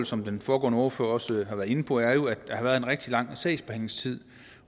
som den foregående ordfører også var inde på er formålet at der har været en rigtig lang sagsbehandlingstid